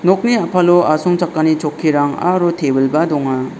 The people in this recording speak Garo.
nokni a·palo asongchakani chokkirang aro tebil -ba donga.